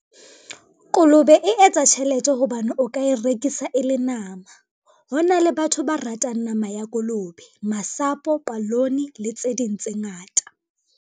Kolobe e etsa tjhelete hobane o ka e rekisa e le nama. Hona le batho ba ratang nama ya kolobe masapo, palone le tse ding tse ngata.